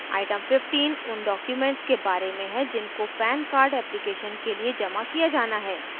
item 15 उन documents के बारे में है जिनको pan card application के लिए जमा किया जाना है